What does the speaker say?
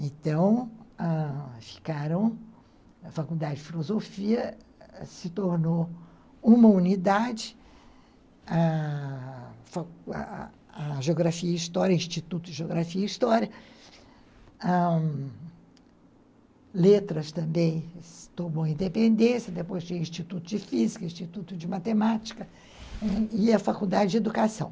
Então, ah, ficaram, a Faculdade de Filosofia se tornou uma unidade, a Geografia e História, Instituto de Geografia e História, Letras também tomou independência, depois tinha Instituto de Física, Instituto de Matemática e a Faculdade de Educação.